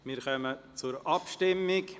Wir kommen zur Abstimmung.